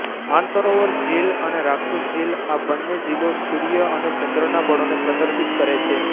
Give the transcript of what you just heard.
માનસરોવર ઝીલ અને રાક્ષસ ઝીલ આ બન્ને ઝીલો સૂર્ય અને ચંદ્રના બળોને પ્રદર્શિત કરે છે